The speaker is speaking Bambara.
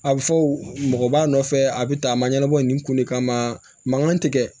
A bɛ fɔ o mɔgɔ b'a nɔfɛ a bɛ tan a ma ɲɛnabɔ nin kun de kama mankan tɛ kɛ